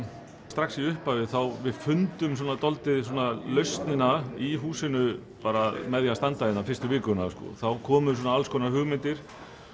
strax í upphafi við fundum lausnina í húsinu með því að standa hérna fyrstu vikuna þá komu alls konar hugmyndir